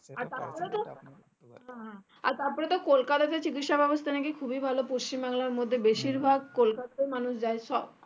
আর বাদবাকিটা কোলকাতাতে চিকিৎসা ব্যাবস্তা নাকি খুবই ভালো পশ্চিম বাংলার মধ্যে বেশিরভাগ কলকাতাতেই মানুষ যাই সব